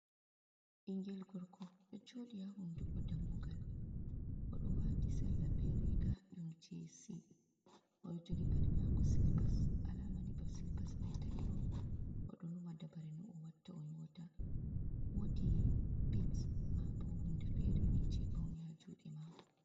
Ɓingel gorko ɗo joɗi ha hunduko dammugal odo wati salla ɓe riga ɗum jesi oɗo joɗi paɗi mako silipas alama ni ɓavsilipas mai ta’i on oɗo numa dabare no o watta o nyota wodi bits ma bo hunde fere ni je paune ha juɗe mako.